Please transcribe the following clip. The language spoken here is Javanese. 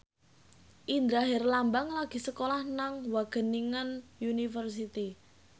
Indra Herlambang lagi sekolah nang Wageningen University